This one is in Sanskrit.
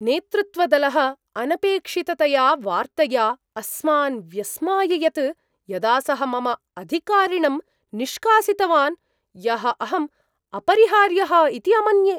नेतृत्वदलः अनपेक्षिततया वार्तया अस्मान् व्यस्माययत् यदा सः मम अधिकारिणं निष्कासितवान्, यः अहम् अपरिहार्यः इति अमन्ये।